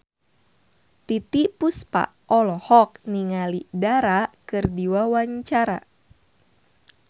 Titiek Puspa olohok ningali Dara keur diwawancara